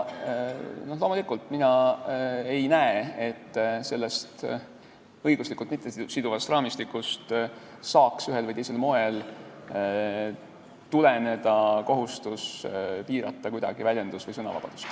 Loomulikult, mina ei näe, et sellest õiguslikult mittesiduvast raamistikust saaks ühel või teisel moel tuleneda kohustus piirata kuidagi väljendus- või sõnavabadust.